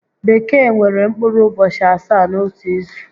Bekee nwere mkpụrụ ụbọchị asaá n'otu izu